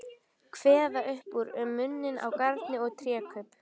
Kveða upp úr um muninn á garni og trékubb.